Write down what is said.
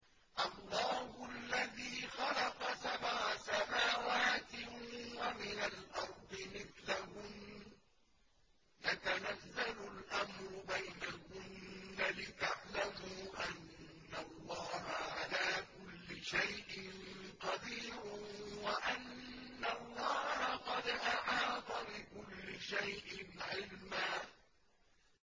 اللَّهُ الَّذِي خَلَقَ سَبْعَ سَمَاوَاتٍ وَمِنَ الْأَرْضِ مِثْلَهُنَّ يَتَنَزَّلُ الْأَمْرُ بَيْنَهُنَّ لِتَعْلَمُوا أَنَّ اللَّهَ عَلَىٰ كُلِّ شَيْءٍ قَدِيرٌ وَأَنَّ اللَّهَ قَدْ أَحَاطَ بِكُلِّ شَيْءٍ عِلْمًا